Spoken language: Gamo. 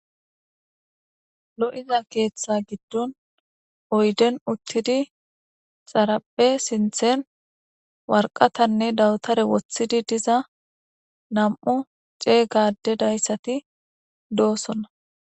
Lo'iza keeththa giddon oyden uttidi xarapphe sinthen warqatanne dawutare woththidi diza nam'u ceey gade dayssati doossonna.